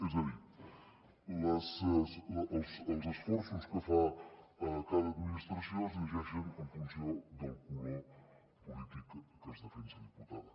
és a dir els esforços que fa cada administració es llegeixen en funció del color polític que es defensa diputada